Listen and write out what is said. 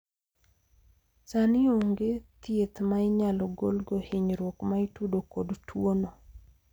sani onge thieth ma inyalo golgo hinyruok ma itudo kod tuono